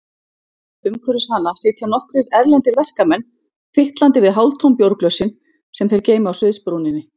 Umhverfis hana sitja nokkrir erlendir verkamenn, fitlandi við hálftóm bjórglösin sem þeir geyma á sviðsbrúninni.